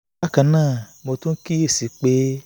bákan náà mo tún kíyè sí i pé